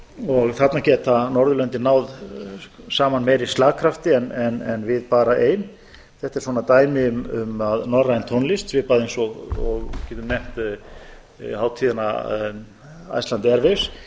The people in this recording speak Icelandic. og þarna geta norðurlöndin náð saman meiri slagkrafti en við bara ein þetta er svona dæmi um að norræn tónlist svipað eins og við getum nefnt hátíðina iceland airwaves